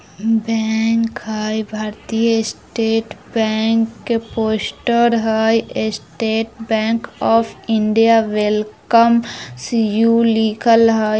बैंक हई | भारतीय state bank के पोस्टर हई | state bank of India welcomes you लिखल हई।